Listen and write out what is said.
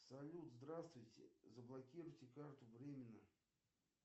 салют здравствуйте заблокируйте карту временно